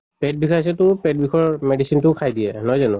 পেট বিষাইছে তো পেট বিষোৱা medicine টো খাই দিয়ে, নহয় জানো?